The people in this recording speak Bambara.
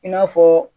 I n'a fɔ